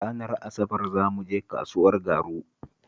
Ranar Asabar za mu je kasuwar Garu?